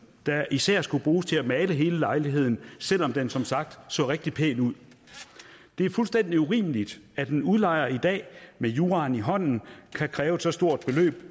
der især skulle bruges til at male hele lejligheden selv om den som sagt så rigtig pæn ud det er fuldstændig urimeligt at en udlejer i dag med juraen i hånden kan kræve et så stort beløb